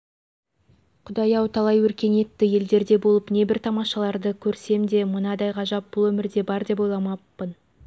құдай-ау талай өркениетті елдерде болып небір тамашаларды көрсем деп мынадай ғажап бұл өмірде бар деп ойламаппын